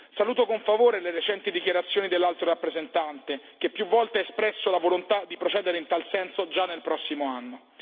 Saluto con favore le recenti dichiarazioni dell'Alto rappresentante, che più volte ha espresso la volontà di procedere in tal senso già nel prossimo anno.